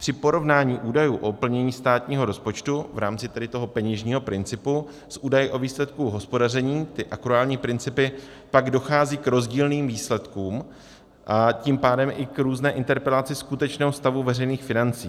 Při porovnání údajů o plnění státního rozpočtu v rámci tedy toho peněžního principu s údaji o výsledku hospodaření, ty akruální principy, pak dochází k rozdílným výsledkům, a tím pádem i k různé interpretaci skutečného stavu veřejných financí.